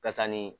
Kasani